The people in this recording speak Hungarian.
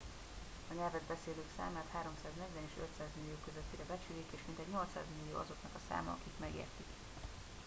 a nyelvet beszélők számát 340 és 500 millió közöttire becsülik és mintegy 800 millió azoknak a száma akik megértik